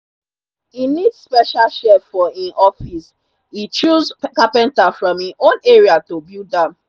e need special shelf for him office. e choose carpenter from him own area to build am.